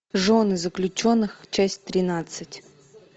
жены заключенных часть тринадцать